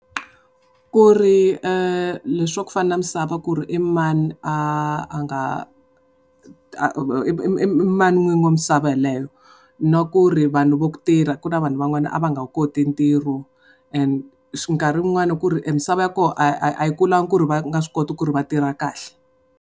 Ku ri le swa ku fana na misava ku ri i mani a a nga i mani n'wini wa misava yeleyo. Na ku ri vanhu va ku tirha ku na vanhu van'wana a va nga wu koti ntirho and nkarhi wun'wani ku ri misava ya koho a yi a yi kulangi ku ri va nga swi koti ku ri va tirha kahle.